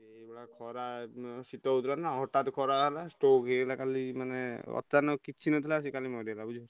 ସିଏ ଏଇଭଳିଆ ଖରା ଉଁ ଶୀତ ହଉଥିଲା ନା ହଠାତ୍ ଖରା ହେଲା stroke ହେଇଗଲା କାଲି ମାନେ ଅଚାନକ କିଛି ନଥିଲା ସେ କାଲି ମରିଗଲା ବୁଝିହେଲା।